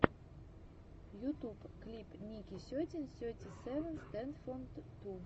ютуб клип ники сетин сети севен стэндофф ту